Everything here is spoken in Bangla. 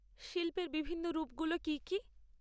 শিল্পের বিভিন্ন রূপগুলো কী কী?